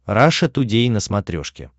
раша тудей на смотрешке